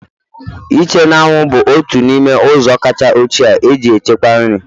Ịche n'anwụ bụ otu n'ime ụzọ kacha ochie e ji echekwa nri